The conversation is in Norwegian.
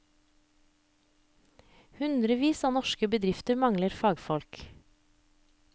Hundrevis av norske bedrifter mangler fagfolk.